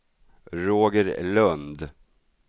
Roger Lund